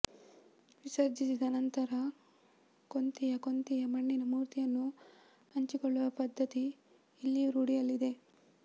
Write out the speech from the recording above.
ವಿಸರ್ಜಿಸಿದ ನಂತರ ಕೊಂತಿಯ ಕೊಂತಿಯ ಮಣ್ಣಿನ ಮೂರ್ತಿಯನ್ನು ಹಂಚಿಕೊಳ್ಳುವ ಪದ್ಧತಿ ಇಲ್ಲಿಯೂ ರೂಢಿಯಲ್ಲಿದೆ